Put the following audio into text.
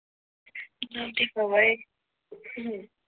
नव्हती सवय हम्म